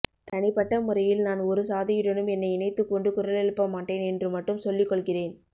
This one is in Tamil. தனிப்பட்ட முறையில் நான் ஒருசாதியுடனும் என்னை இணைத்துக்கொண்டு குரலெழுப்ப மாட்டேன் என்று மட்டும் சொல்லிக்கொள்கிறேன்